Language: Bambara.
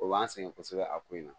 O b'an sɛgɛn kosɛbɛ a ko in na